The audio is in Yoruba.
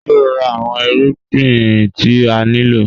Ṣe o ra awọn irugbin ti a nilo?